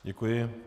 Děkuji.